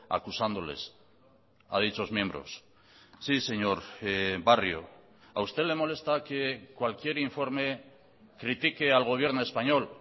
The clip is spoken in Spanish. acusándoles a dichos miembros sí señor barrio a usted le molesta que cualquier informe critique al gobierno español